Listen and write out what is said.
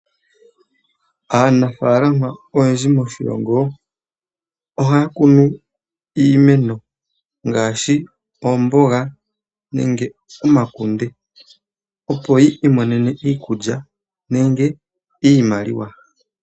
Aanafalama oyendji moshilongo ohaya kunu iimeno ngaashi oomboga nenge omakunde, opo yi imonene iikulya nenge iimaliwa.